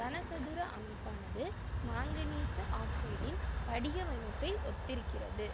கனசதுர அமைப்பானது மாங்கனீசு ஆக்சைடின் படிகவமைப்பை ஒத்திருக்கிறது